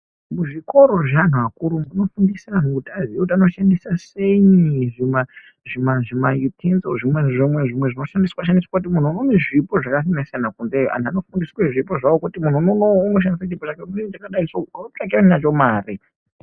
Kuzvikoro zveantu akuru kunofundisa anhu kuti aziye kuti anoshandisa seyi zvima zvima zvima Itinzo zvimwenzvimwe zvimwe zvinoshandiswa shandiswa kuti muntu une zvipo zvakasiyana siyana kunze antu anofundiswe zvipo zvawo kuti munhu unowu Unoshandise chipo chake chakadai so mweotsvake nacho mare.